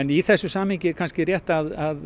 í þessum samningi er kannski rétt að